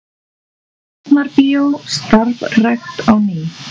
Tjarnarbíó starfrækt á ný